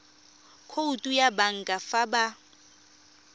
khoutu ya banka fa ba